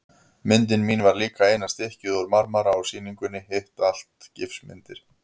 Myndin mín var líka eina stykkið úr marmara á sýningunni, hitt allt gifsmyndir.